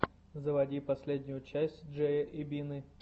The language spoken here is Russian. заводи последнюю часть джея и бины